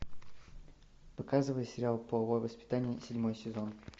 показывай сериал половое воспитание седьмой сезон